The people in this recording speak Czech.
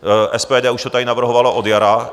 SPD už to tady navrhovalo od jara.